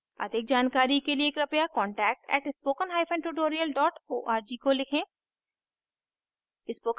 अधिक जानकारी के लिए कृपया contact @spokentutorial org को लिखें